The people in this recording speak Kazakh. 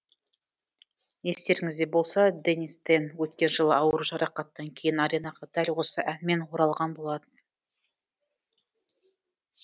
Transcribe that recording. естеріңізде болса денис тен өткен жылы ауыр жарақаттан кейін аренаға дәл осы әнмен оралған болатын